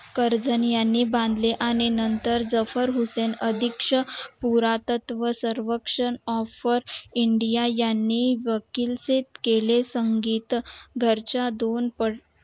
Curzon यांनी बांधले आणि नंतर जफर हूदेणं अधीक्ष पुरातत्व सर्वक्षण offer india यांनी वकील चे केले संगीत घरच्या दोनपट